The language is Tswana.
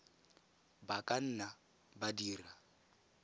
ba ka nna ba dira